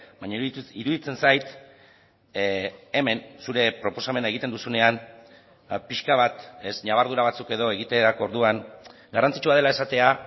baina iruditzen zait hemen zure proposamena egiten duzunean pixka bat ñabardura batzuk edo egiterako orduan garrantzitsua dela esatea